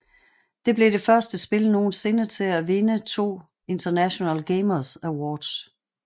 Det blev det første spil nogensinde til at vinde to International Gamers Awards